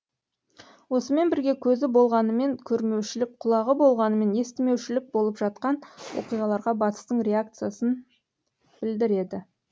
осымен бірге көзі болғанымен көрмеушілік құлағы болғанымен естімеушілік болып жатқан оқиғаларға батыстың реакциясын білдіреді